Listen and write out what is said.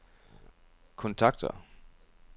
kontakter